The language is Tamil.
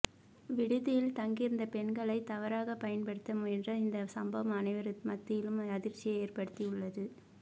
விடுதியில் தங்கியிருந்த பெண்களை தவறாக பயன்படுத்த முயன்ற இந்த சம்பவம் அனைவரது மத்தியிலும் அதிர்ச்சியை ஏற்படுத்தி உள்ளது